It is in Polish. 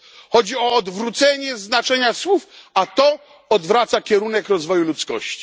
Chodzi o odwrócenie znaczenia słów, a to odwraca kierunek rozwoju ludzkości.